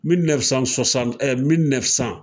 ɛɛ